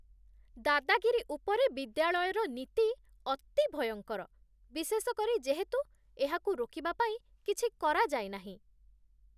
ଦାଦାଗିରି ଉପରେ ବିଦ୍ୟାଳୟର ନୀତି ଅତି ଭୟଙ୍କର, ବିଶେଷ କରି ଯେହେତୁ ଏହାକୁ ରୋକିବା ପାଇଁ କିଛି କରାଯାଇନାହିଁ।